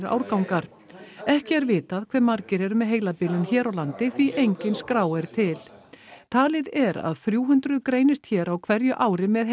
árgangar ekki er vitað hve margir eru með heilabilun hér á landi því enginn skrá er til talið er að þrjú hundruð greinist hér á hverju ári með